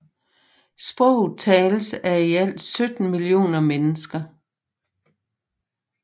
Sproget tales af i alt 17 millioner mennesker